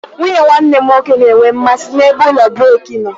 Nwunye nwanne m nwoke na-enwe mmasị ebe ụlọ brik nọ.